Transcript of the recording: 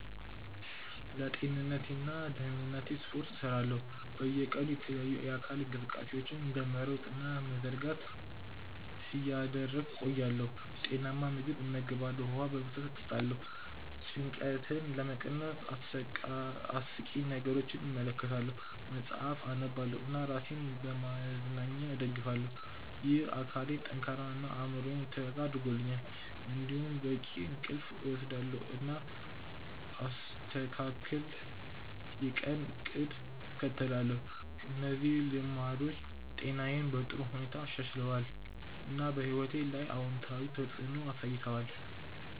ለጤንነቴና ደህንነቴ ስፖርት እሰራለሁ፣ በየቀኑ የተለያዩ የአካል እንቅስቃሴዎችን እንደ መሮጥ እና መዘርጋት እያደረግሁ እቆያለሁ። ጤናማ ምግብ እመገባለሁ፣ ውሃ በብዛት እጠጣለሁ። ጭንቀትን ለመቀነስ አስቂኝ ነገሮችን እመለከታለሁ፣ መጽሐፍ አነባለሁ እና ራሴን በመዝናኛ እደግፋለሁ። ይህ አካሌን ጠንካራ እና አእምሮዬን የተረጋጋ አድርጎኛል። እንዲሁም በቂ እንቅልፍ እወስዳለሁ፣ እና አስተካክል የቀን እቅድ እከተላለሁ። እነዚህ ልማዶች ጤናዬን በጥሩ ሁኔታ አሻሽለዋል፣ እና በሕይወቴ ላይ አዎንታዊ ተፅዕኖ አሳይተዋል።